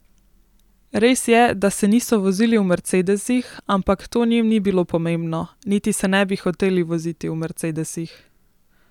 Res je, da se niso vozili v mercedesih, ampak to njim ni bilo pomembno, niti se ne bi hoteli voziti v mercedesih.